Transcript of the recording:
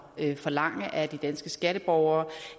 at forlange af de danske skatteborgere